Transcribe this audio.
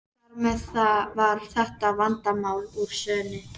Þar með var þetta vandamál úr sögunni.